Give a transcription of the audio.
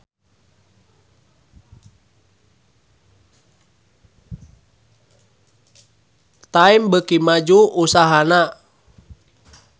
Time beuki maju usahana